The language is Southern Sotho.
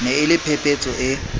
ne e le phephetso e